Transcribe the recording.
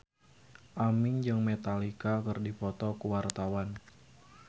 Aming jeung Metallica keur dipoto ku wartawan